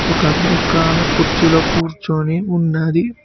కాదు ఓకే ఆమె కుర్చీలో కూర్చుని ఉన్నది.